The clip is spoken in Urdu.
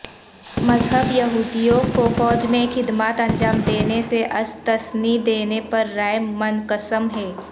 مذہب یہودیوں کو فوج میں خدمات انجام دینے سے استثنی دینے پر رائے منقسم ہے